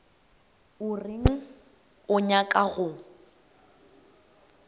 o reng o nyaka go